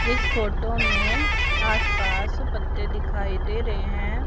इस फोटो में आस पास पत्ते दिखाई दे रहे हैं।